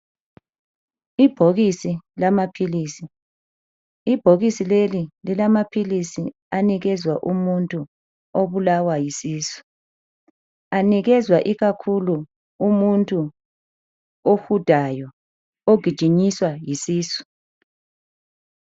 Ibhokisi lamaphilisi. Ibhokisi leli lilamaphilisi anikezwa umuntu obulawa yisisu. Anikezwa ikakhulu umuntu ohudayo, ogijinyiswa yisisu.